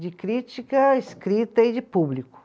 De crítica escrita e de público.